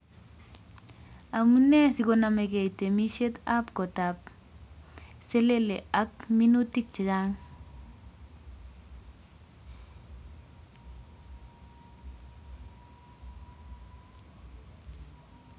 Amunee sikonomegei temisiet ab kotab selele ak minutik chechang